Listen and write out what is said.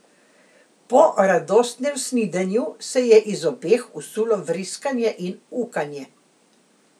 Po radostnem snidenju se je iz obeh usulo vriskanje in ukanje.